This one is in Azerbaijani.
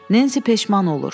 Nensi peşman olur.